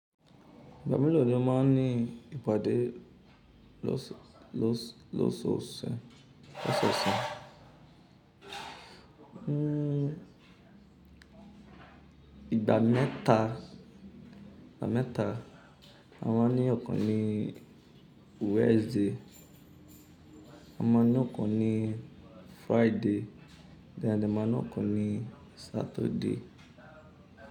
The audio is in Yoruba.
Igba miran mo ma ní ìpàdé lọ́sọ̀ọ̀sẹ̀. Hmm ìgbà mẹ́ta, à máa ní ọ̀kan ní Wednesday, a máa ní ọ̀kan ní Friday, then a de máa ní ọ̀kan ní Saturday.